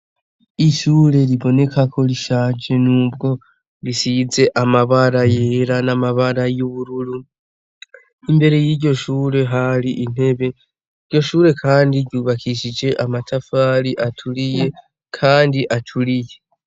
Ishure riboneka KO rishaje nubwo risize amabara yera n'amabara yubururu imbere y'iryo Shure hari intebe iryo Shure kandi ry'ubakishijwe amatafari aturiye kandi aturiye